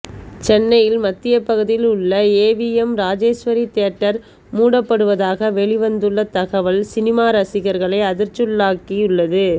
சென்னையின் மத்திய பகுதியில் உள்ள ஏவிஎம் ராஜேஸ்வரி தியேட்டர் மூடப்படுவதாக வெளி வந்துள்ள தகவல் சினிமா ரசிகர்களை அதிர்ச்சிக்குள்ளாக்கியுள்ளது